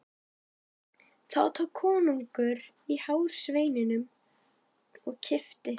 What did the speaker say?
Þá tók konungur í hár sveininum og kippti.